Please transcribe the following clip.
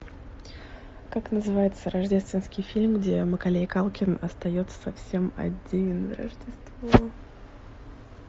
как называется рождественский фильм где маколей калкин остается совсем один на рождество